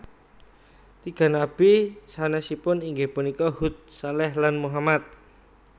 Tiga nabi sanesipun inggih punika Hud Shaleh lan Muhammad